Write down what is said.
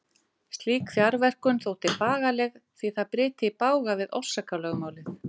Slík fjarverkun þótti bagaleg því það bryti í bága við orsakalögmálið.